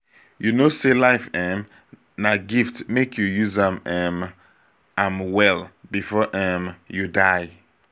you know sey life um na gift make we use um am well before um you die.